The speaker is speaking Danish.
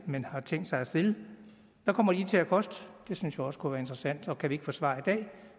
man har tænkt sig at stille hvad kommer de til at koste det synes jeg også kunne være interessant og kan vi ikke få svar i dag